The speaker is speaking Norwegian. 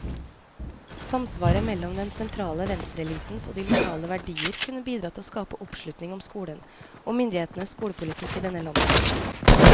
Samsvaret mellom den sentrale venstreelitens og de lokale verdier kunne bidra til å skape oppslutning om skolen, og myndighetenes skolepolitikk i denne landsdelen.